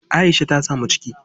Aisha ta samu ciki.